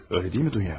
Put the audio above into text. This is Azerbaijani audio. Elə deyilmi, Dunya?